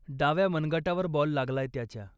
डाव्या मनगटावर बॉल लागलाय त्याच्या.